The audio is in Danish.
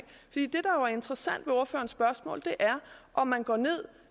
interessant ved ordførerens spørgsmål er om man går ned